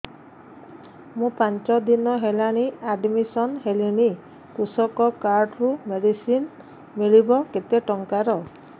ମୁ ପାଞ୍ଚ ଦିନ ହେଲାଣି ଆଡ୍ମିଶନ ହେଲିଣି କୃଷକ କାର୍ଡ ରୁ ମେଡିସିନ ମିଳିବ କେତେ ଟଙ୍କାର